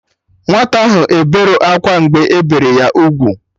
Nwata ahụ eberọ akwa mgbe ebere ya ugwu